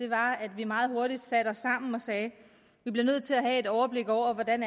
var at vi meget hurtigt satte os sammen og sagde at vi bliver nødt til at have et overblik over hvordan